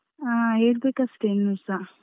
ಆ ಹೇಳ್ಬೇಕು ಅಷ್ಟೇ ಇನ್ನುಸ.